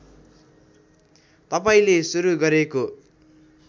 तपाईँले सुरु गरेको